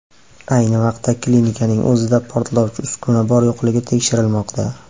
Ayni vaqtda, klinikaning o‘zida portlovchi uskuna bor-yo‘qligi tekshirilmoqda.